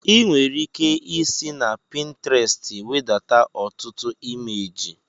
Ị nwere ike isi na Pintrestị wedata ọtụtụ imeji